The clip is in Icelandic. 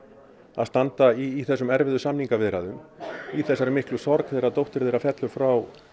að standa í þessum erfiðu samningaviðræðum í þessari miklu sorg þegar dóttir þeirra fellur frá